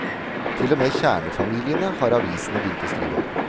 Til og med kjernefamiliene har avisene begynt å skrive om.